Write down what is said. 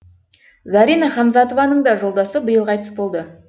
зарина хамзатованың да жолдасы биыл қайтыс болды